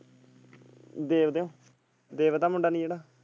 ਦੇਵ ਦਾ ਦੇਵ ਦਾ ਮੁੰਡਾ ਨੀ ਜਿਹੜਾ।